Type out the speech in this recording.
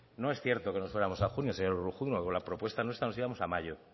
no es cierto que nos fuéramos a junio señor urruzuno con la propuesta nuestra nos íbamos